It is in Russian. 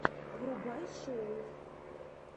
врубай шоу